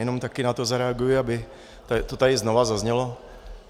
Jenom taky na to zareaguji, aby to tady znova zaznělo.